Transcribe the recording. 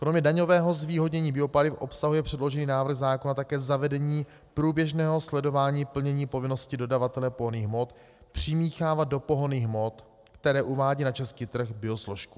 Kromě daňového zvýhodnění biopaliv obsahuje předložený návrh zákona také zavedení průběžného sledování plnění povinnosti dodavatele pohonných hmot přimíchávat do pohonných hmot, které uvádí na český trh, biosložku.